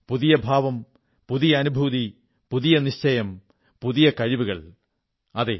പുതിയ ഭാവം പുതിയ അനുഭൂതി പുതിയ നിശ്ചയം പുതിയ കഴിവുകൾ അതെ